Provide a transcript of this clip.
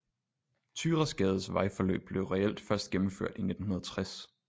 Thyrasgades vejforløb blev reelt først gennemført i 1960Vulkangade er en lille gade på ydre nørrebro i mimersgadekvarteret